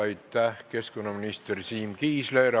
Aitäh, keskkonnaminister Siim Kiisler!